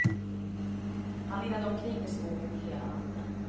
Han irrade omkring i skogen hela natten.